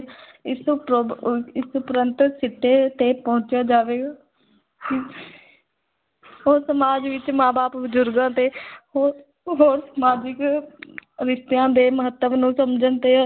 ਇਸ ਉਪ ਅਹ ਇਸ ਉਪਰੰਤ ਸਿੱਟੇ ਤੇ ਪਹੁੰਚਿਆ ਜਾਵੇਗਾ ਉਹ ਸਮਾਜ ਵਿੱਚ ਮਾਂ-ਬਾਪ, ਬਜ਼ੁਰਗਾਂ ਤੇ ਹੋ ਹੋਰ ਸਮਾਜਿਕ ਰਿਸ਼ਤਿਆਂ ਦੇ ਮਹੱਤਵ ਨੂੰ ਸਮਝਣ ਤੇ